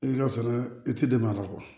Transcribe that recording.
I ka sɛnɛ i ti dɛmɛ a la